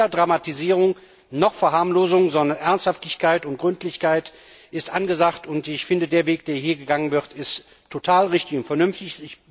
Also weder Dramatisierung noch Verharmlosung, sondern Ernsthaftigkeit und Gründlichkeit sind angesagt, und ich finde, der Weg, der hier gegangen wird, ist total richtig und vernünftig.